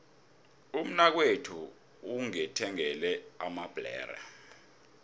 umnakwethu ungithengele amabhlere